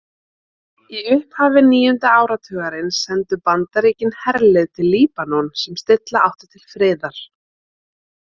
Í upphafi níunda áratugarins sendu Bandaríkin herlið til Líbanon sem stilla átti til friðar.